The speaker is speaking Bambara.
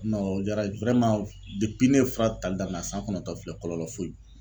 o diyara ne ye fura tali daminɛ a san kɔnɔntɔn filɛ kɔlɔlɔ foyi.